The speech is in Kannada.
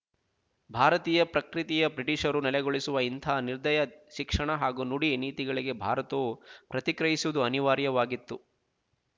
ಭಾರತೀಯ ಪ್ರಕ್ರಿತಿಯೆ ಬ್ರಿಟಿಶರು ನೆಲೆಗೊಳಿಸುವ ಇಂತಹ ನಿರ್ದಯ ಶಿಕ್ಷಣ ಹಾಗೂ ನುಡಿ ನೀತಿಗಳಿಗೆ ಭಾರತವು ಪ್ರತಿಕ್ರಿಯಿಸುವುದು ಅನಿವಾರ್ಯವಾಗಿತ್ತು